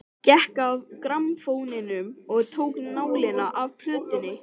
Gekk að grammófóninum og tók nálina af plötunni.